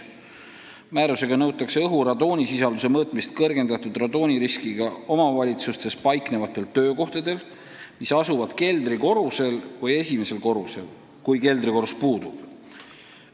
Määrusega nõutakse õhu radoonisisalduse mõõtmist kõrgendatud radooniriskiga omavalitsustes paiknevatel töökohtadel, mis asuvad keldrikorrusel või esimesel korrusel, kui keldrikorrus puudub.